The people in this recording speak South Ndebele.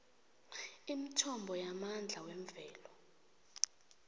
imithombo yamandla wemvelo